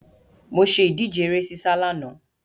Mo ṣe ìdíje ere sísá lánàá.